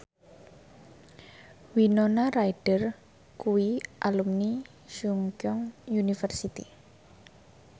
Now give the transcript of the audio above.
Winona Ryder kuwi alumni Chungceong University